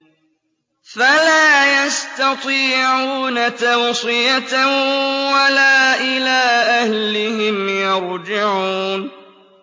فَلَا يَسْتَطِيعُونَ تَوْصِيَةً وَلَا إِلَىٰ أَهْلِهِمْ يَرْجِعُونَ